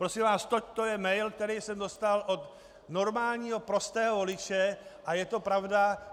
Prosím vás, to je mail, který jsem dostal od normálního prostého voliče, a je to pravda.